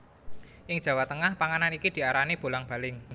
Ing Jawa Tengah panganan iki diarani bolang baling